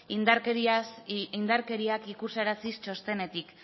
indarkeriak ikusaraziz txostenetik